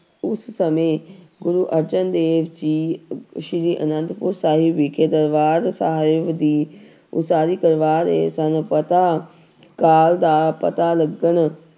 ਉਸ ਸਮੇਂ ਗੁਰੂੂ ਅਰਜਨ ਦੇਵ ਜੀ ਸ੍ਰੀ ਅਨੰਦਪੁਰ ਸਾਹਿਬ ਵਿਖੇ ਦਰਬਾਰ ਸਾਹਿਬ ਦੀ ਉਸਾਰੀ ਕਰਵਾ ਰਹੇ ਸਨ ਪਤਾ ਕਾਲ ਦਾ ਪਤਾ ਲੱਗਣ